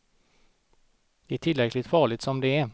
Det är tillräckligt farligt som det är.